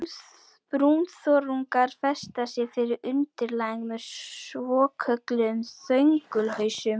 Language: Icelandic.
Brúnþörungar festa sig við undirlagið með svokölluðum þöngulhausum.